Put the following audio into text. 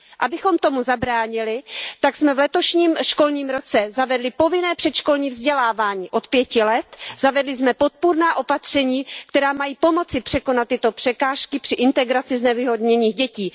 Abychom tomu zabránili, tak jsme v letošním školním roce zavedli povinné předškolní vzdělávání od 5 let, zavedli jsme podpůrná opatření, která mají pomoci překonat tyto překážky při integraci znevýhodněných dětí.